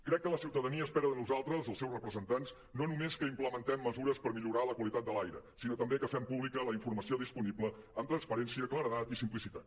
crec que la ciutadania espera de nosaltres els seus representants no només que implementem mesures per millorar la qualitat de l’aire sinó també que fem públi·ca la informació disponible amb transparència claredat i simplicitat